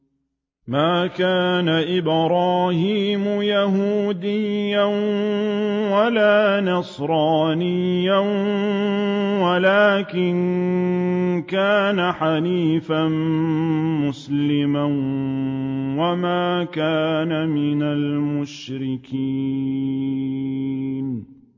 مَا كَانَ إِبْرَاهِيمُ يَهُودِيًّا وَلَا نَصْرَانِيًّا وَلَٰكِن كَانَ حَنِيفًا مُّسْلِمًا وَمَا كَانَ مِنَ الْمُشْرِكِينَ